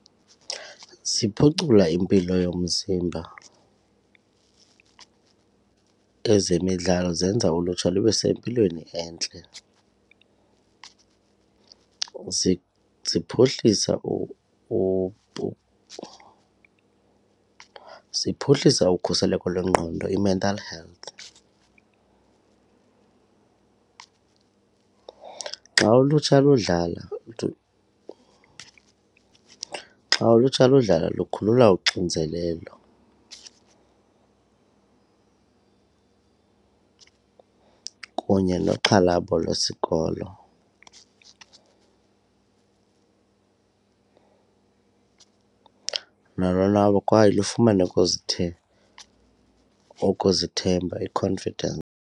Ziphucula impilo yomzimba ezemidlalo zenza ulutsha lube sempilweni entle, ziphuhlisa ziphuhlisa ukhuseleko lwengqondo i-mental health. Xa ulutsha ludlala xa ulutsha ludlala lukukhulula uxinzelelo kunye noxhalabo lwesikolo nolonwabo kwaye lufumane ukuzithemba i-confidence.